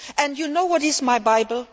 You know what is my bible?